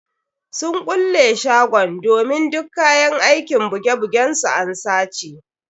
Sun kulle shagon domin duk kayan aikin buge bugen su an sace.